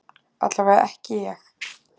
Allavega ekki ég.